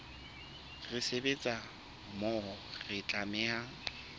re sebetsa mmoho re tlameha